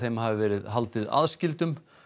hafi verið haldið aðskildum